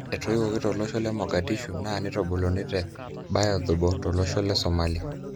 Etoiwoki tolosho le Mogadishu na neitubuluni te Baydhabo, tolosho le Somalia.